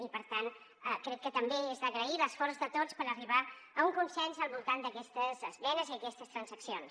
i per tant crec que també és d’agrair l’esforç de tots per arribar a un consens al voltant d’aquestes esmenes i aquestes transaccions